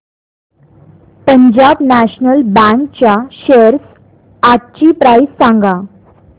Punjab national bank च्या shares आजची price सांगा